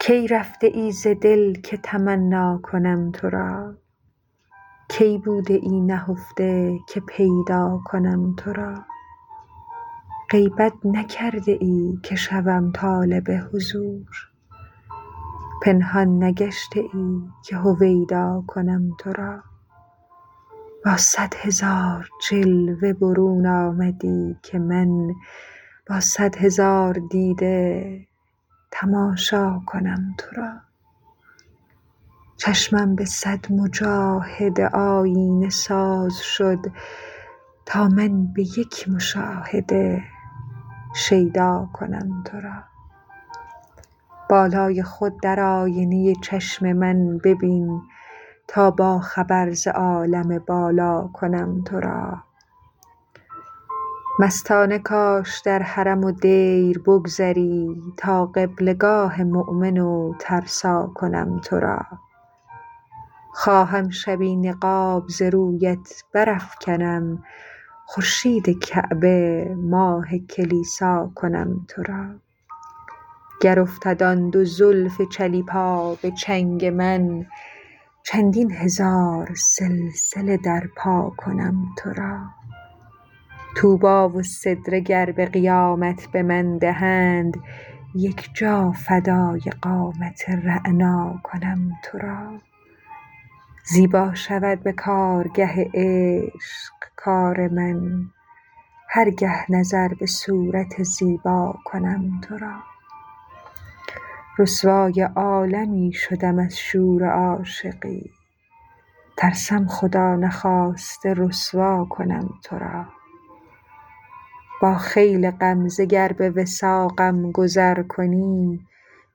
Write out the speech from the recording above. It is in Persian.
کی رفته ای ز دل که تمنا کنم تو را کی بوده ای نهفته که پیدا کنم تو را غیبت نکرده ای که شوم طالب حضور پنهان نگشته ای که هویدا کنم تو را با صد هزار جلوه برون آمدی که من با صد هزار دیده تماشا کنم تو را چشمم به صد مجاهده آیینه ساز شد تا من به یک مشاهده شیدا کنم تو را بالای خود در آینه چشم من ببین تا با خبر ز عالم بالا کنم تو را مستانه کاش در حرم و دیر بگذری تا قبله گاه مؤمن و ترسا کنم تو را خواهم شبی نقاب ز رویت برافکنم خورشید کعبه ماه کلیسا کنم تو را گر افتد آن دو زلف چلیپا به چنگ من چندین هزار سلسله در پا کنم تو را طوبی و سدره گر به قیامت به من دهند یک جا فدای قامت رعنا کنم تو را زیبا شود به کارگه عشق کار من هر گه نظر به صورت زیبا کنم تو را رسوای عالمی شدم از شور عاشقی ترسم خدا نخواسته رسوا کنم تو را با خیل غمزه گر به وثاقم گذر کنی